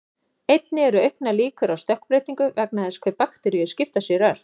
Einnig eru auknar líkur á stökkbreytingu vegna þess hve bakteríur skipta sér ört.